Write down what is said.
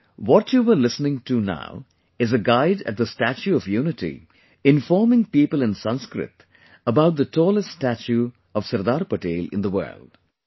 Actually, what you were listening to now is a guide at the Statue of Unity, informing people in Sanskrit about the tallest statue of Sardar Patel in the world